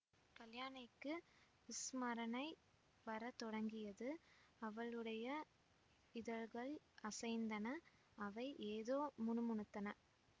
கல்யாணிக்கு ஸ்மரணை வர தொடங்கியது அவளுடைய இதழ்கள் அசைந்தன அவை ஏதோ முணு முணுத்தன